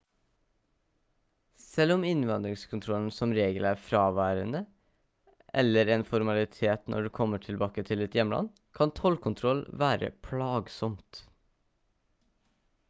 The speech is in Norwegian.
selv om innvandringskontrollen som regel er fraværende eller en formalitet når du kommer tilbake til ditt hjemland kan tollkontroll være plagsomt